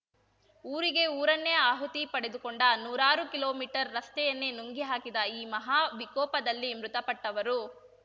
ಊರಿಗೆ ಊರನ್ನೇ ಆಹುತಿ ಪಡೆದುಕೊಂಡ ನೂರಾರು ಕಿಲೋಮೀಟರ್ ರಸ್ತೆಯನ್ನೇ ನುಂಗಿ ಹಾಕಿದ ಈ ಮಹಾ ವಿಕೋಪದಲ್ಲಿ ಮೃತಪಟ್ಟವರು